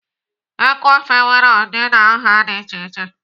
Eku ofe nwere ụdị na nha dị iche.